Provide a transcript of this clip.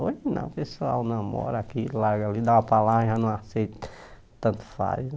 Hoje não, o pessoal namora aqui, larga ali, dá uma palavra e já não aceita, tanto faz né.